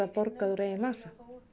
borgað úr eigin vasa